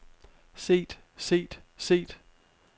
set set set